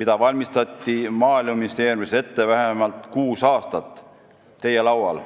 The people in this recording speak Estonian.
mida valmistati Maaeluministeeriumis ette vähemalt kuus aastat, teie laual.